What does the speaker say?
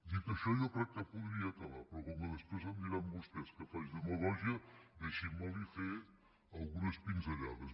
dit això jo crec que podria acabar però com que després em diran vostès que faig demagògia deixi me li fer algunes pinzellades